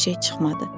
Bir şey çıxmadı.